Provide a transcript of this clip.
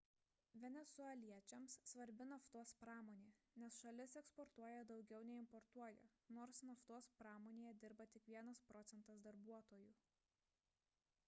venesueliečiams svarbi naftos pramonė nes šalis eksportuotoja daugiau nei importuoja nors naftos pramonėje dirba tik vienas procentas darbuotojų